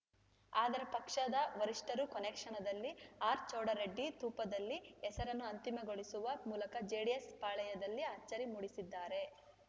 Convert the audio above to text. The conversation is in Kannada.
ಆದರೆ ಪಕ್ಷದ ವರಿಷ್ಠರು ಕೊನೆಕ್ಷಣದಲ್ಲಿ ಆರ್‌ಚೌಡರೆಡ್ಡಿ ತೂಪದಲ್ಲಿ ಹೆಸರನ್ನು ಅಂತಿಮಗೊಳಿಸುವ ಮೂಲಕ ಜೆಡಿಎಸ್‌ ಪಾಳೆಯದಲ್ಲಿ ಅಚ್ಚರಿ ಮೂಡಿಸಿದ್ದಾರೆ